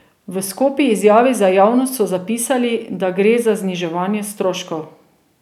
V skopi izjavi za javnost so zapisali, da gre za zniževanje stroškov.